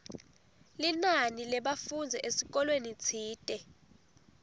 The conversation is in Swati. linani lebafundzi esikolweni tsite